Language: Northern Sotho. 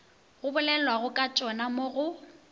go bolelwagokatšona mo go b